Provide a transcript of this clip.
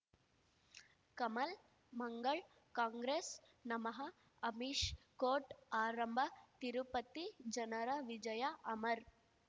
ಕಮಲ್ ಮಂಗಳ್ ಕಾಂಗ್ರೆಸ್ ನಮಃ ಅಮಿಷ್ ಕೋರ್ಟ್ ಆರಂಭ ತಿರುಪತಿ ಜನರ ವಿಜಯ ಅಮರ್